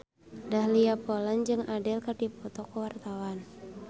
Dahlia Poland jeung Adele keur dipoto ku wartawan